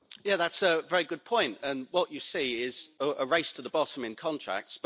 Yes, that's a very good point, and what you see is a race to the bottom in contracts.